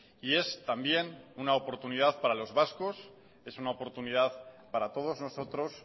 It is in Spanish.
y es también una oportunidad para los vascos es una oportunidad para todos nosotros